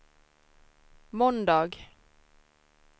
måndag